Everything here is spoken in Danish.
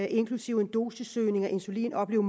inklusive en dosissøgning af insulin opleve